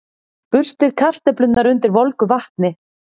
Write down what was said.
Burstið kartöflurnar undir volgu vatni.